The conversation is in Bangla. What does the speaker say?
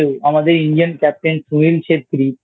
আমাদের Indian Captain Sunil Chhetri